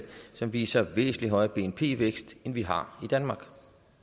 som viser en væsentlig højere bnp vækst end vi har i danmark